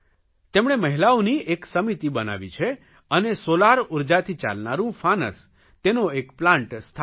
તેમણે મહિલાઓની એક સમિતિ બનાવી છે અને સોલાર ઉર્જાથી ચાલનારૂં ફાનસ તેનો એક પ્લાન્ટ સ્થાપ્યો છે